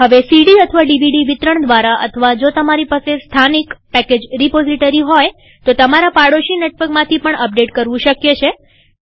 હવે cdડીવીડી વિતરણ દ્વારા અથવા જો તમારી પાસે સ્થાનિકલોકલ પેકેજ રીપોઝીટરી હોય તો તમારા પાડોશી નેટવર્કમાંથી પણ અપડેટ કરવું શક્ય છે